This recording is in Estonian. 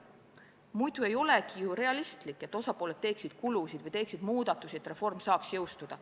Muidu ei ole realistlik, et osapooled teeksid kulusid või muudatusi, et reform saaks jõustuda.